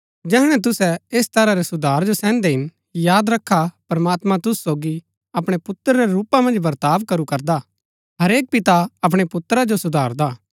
जैहणै तुसै ऐस तरह रै सुधार जो सैहन्दै हिन याद रखा प्रमात्मां तुसु सोगी अपणै पुत्र रै रूपा मन्ज वर्ताव करू करदा हा हरेक पिता अपणै पुत्र को सुधारदा हा